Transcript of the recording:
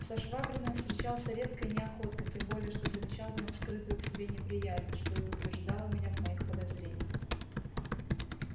со швабриным встречался редко и неохотно тем более что замечал в нем скрытую к себе неприязнь что и утверждало меня в моих подозрениях